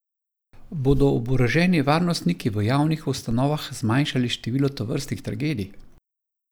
Bodo oboroženi varnostniki v javnih ustanovah zmanjšali število tovrstnih tragedij?